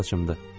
Öz saçımdır.